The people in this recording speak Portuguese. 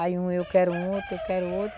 Aí um eu quero outro, eu quero outro.